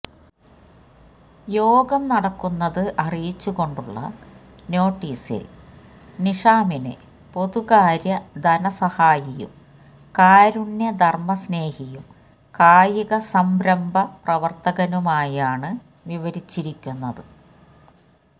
യോഗം നടക്കുന്നത് അറിയിച്ചുകൊണ്ടുള്ള നോട്ടീസില് നിഷാമിനെ പൊതുകാര്യ ധനസഹായിയും കാരുണ്യ ധര്മ്മസ്നേഹിയും കായിക സംരംഭ പ്രവര്ത്തകനുമായാണ് വിവരിച്ചിരിക്കുന്നത്